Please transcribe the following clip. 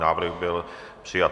Návrh byl přijat.